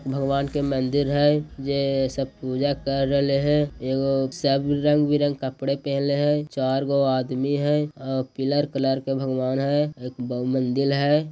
भगवान का मंदिर है जे सब पूजा कर रेले हैं यो-- सब रंग बिरंग कपड़े पहनले हैं चार गो आदमी है आ पीला कलर के भगवान है। एक बहु मंदिर हैं।